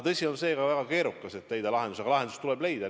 Tõsi on seegi, et väga keeruline on leida lahendust, aga lahendus tuleb leida.